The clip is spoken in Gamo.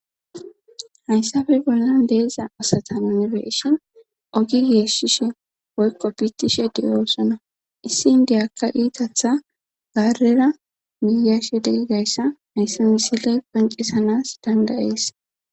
Hayssafe bollan deeza asata yunibeshon ogi geeshishe woykko biittishe diyoossona issi indeyakka iitatha gaarera giyashe degigayssa hayssa misiley quncisanas dandayees.